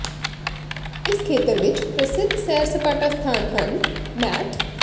ਇਸ ਖੇਤਰ ਵਿੱਚ ਪ੍ਰਸਿੱਧ ਸੈਰ ਸਪਾਟਾ ਸਥਾਨ ਹਨ ਮੈਟ